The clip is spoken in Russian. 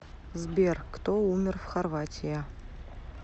сбер кто умер в хорватия